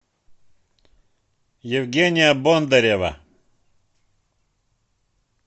евгения бондарева